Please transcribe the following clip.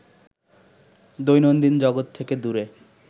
দৈনন্দিন জগৎ থেকে দূরে